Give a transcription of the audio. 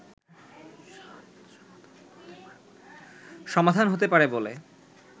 সমাধান হতে পারে বলে